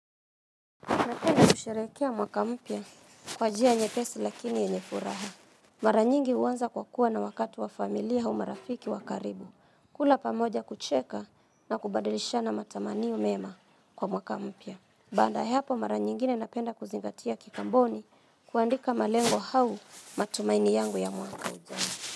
Napenda kusherehekea mwaka mpya kwa njia nyepesi lakini yenye furaha. Mara nyingi huanza kwa kuwa na wakati wa familia au marafiki wa karibu. Kula pamoja kucheka na kubadilisha na matamani mema kwa mwaka mpya. Baada hapo mara nyingine napenda kuzingatia kikamboni kuandika malengo hau matumaini yangu ya mwaka ujao.